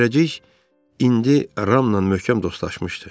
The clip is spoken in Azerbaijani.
Zərrəcik indi Ramla möhkəm dostlaşmışdı.